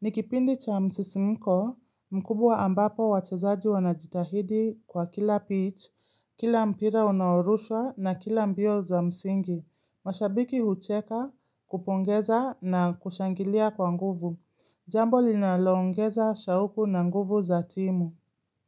Nikipindi cha msisimiko mkubwa ambapo wachezaji wanajitahidi kwa kila pitch, kila mpira unaoruswa na kila mbio za msingi. Mashabiki hucheka kupongeza na kushangilia kwa nguvu. Jambo linalongeza shauku na nguvu za timu.